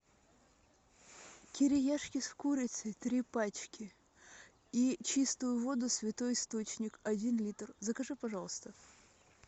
кириешки с курицей три пачки и чистую воду святой источник один литр закажи пожалуйста